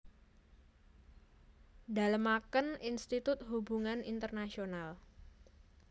Dalemaken Institut Hubungan Internasional